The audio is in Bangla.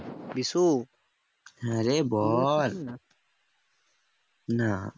বিষু